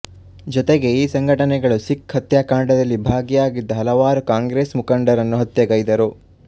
ಜೊತೆಗೆ ಈ ಸಂಘಟನೆಗಳು ಸಿಖ್ ಹತ್ಯಾಕಾಂಡದಲ್ಲಿ ಭಾಗಿಯಾಗಿದ್ದ ಹಲವಾರು ಕಾಂಗ್ರೆಸ್ ಮುಖಂಡರನ್ನು ಹತ್ಯೆಗೈದರು